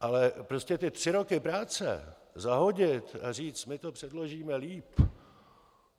Ale prostě ty tři roky práce zahodit a říct: my to předložíme líp...